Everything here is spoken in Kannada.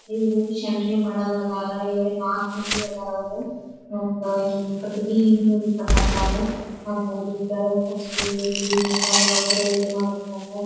ಇವರು ಸೆಂಟ್ರಿಂಗ್ ಮಾದೌರ್ ಅದರ. ಇಲ್ಲಿ ನಾಕ್ ಮಂದಿ ಆದರ ಅವರು. ಮತ್ತ ಹಿಂಗ್ ಕಟ್ಟಿಗೆ ಹಿಂಬದಿ ಕಟ್ಟತ್ತಾರು. ಮತ್ತ್ ಅಲ್ಲಿ ಕ್ಯಳಾಗ್ ಕುರ್ಸಿ ಐತಿ ಮತ್ತ ಅಲ್ಲಿ ಒಬ್ಬ್ರ ಇದನ್ ಮಾಡಾತಾರ.